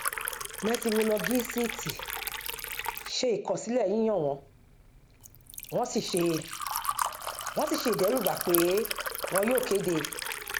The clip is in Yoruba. mẹtirolọgìsíítì ṣe ìkọsílẹ yíyan wọn wọn sì ṣe wọn sì ṣe ìdẹrúbà pé wọn yóò kéde